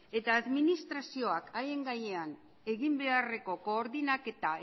eta administrazioak haien gainean egin beharreko koordinaketa